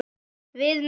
Við með.